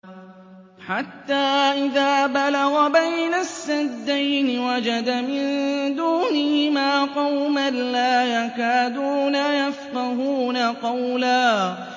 حَتَّىٰ إِذَا بَلَغَ بَيْنَ السَّدَّيْنِ وَجَدَ مِن دُونِهِمَا قَوْمًا لَّا يَكَادُونَ يَفْقَهُونَ قَوْلًا